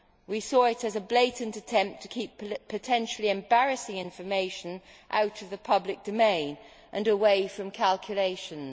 We saw it as a blatant attempt to keep potentially embarrassing information out of the public domain and away from calculations.